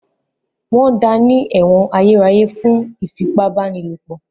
Wọ́n da ní ẹ̀wọ̀n ayérayé fún ìfipábánilòpọ̀.